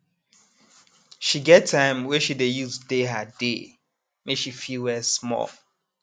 she get time wey she dey use dey her dey make she fit rest small